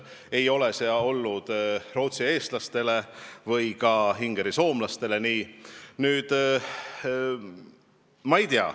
Ei ole see nii olnud ka rootsieestlastele või ingerisoomlastele.